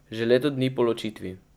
Že leto dni po ločitvi.